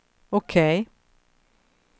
OK